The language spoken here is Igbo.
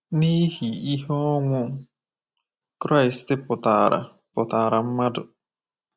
N’ihi ihe ọnwụ Kraịst pụtaara pụtaara mmadụ.